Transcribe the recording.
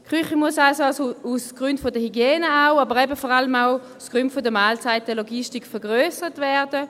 Die Küche muss aus Gründen der Hygiene, aber eben vor allem aus Gründen der Mahlzeitenlogistik vergrössert werden.